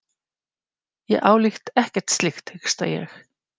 Ég álít ekkert slíkt, hiksta ég.